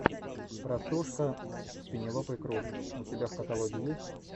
простушка с пенелопой крус у тебя в каталоге есть